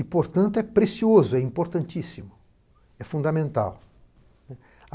E, portanto, é precioso, é importantíssimo, é fundamental.